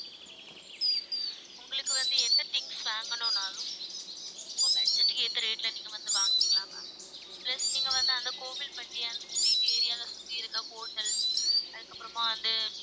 உங்களுக்கு வந்து என்ன things வாங்கணும்னாலும் உங்க budget க்கு ஏத்த rate ல நீங்க வந்து வாங்கிக்கலாம் ma'am plus நீங்க வந்து அந்த கோவில்பட்டி அந்த street area ல சுத்தி இருக்க hotels அதுக்கப்புறமா வந்து